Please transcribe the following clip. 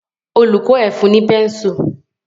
Olùkó ẹ fun ní pẹ́nsù.